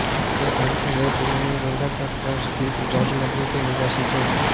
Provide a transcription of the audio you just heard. ये अंतर्वेद में गंगातट पर स्थित जाजमऊ के निवासी थे